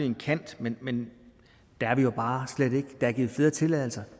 en kant men men der er vi jo bare slet ikke der er givet flere tilladelser